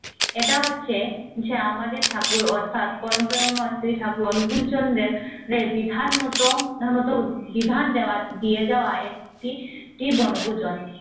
এটা হচ্ছে হচ্ছে আমাদের ঠাকুর অথাৎ পরম্পরময় শ্রী ঠাকুর অনুকূল চন্দের বিধান মত মত বিধান দেয়ার দিয়ে যাওয়া একটি বনভূজন